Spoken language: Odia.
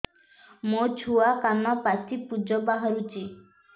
ମୋ ଛୁଆ କାନ ପାଚି ପୂଜ ବାହାରୁଚି